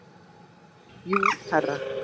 Jú, herra.